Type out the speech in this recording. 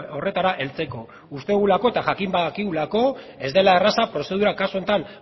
horretara heltzeko uste dugulako eta jakin badakigulako ez dela erraza prozedura kasu honetan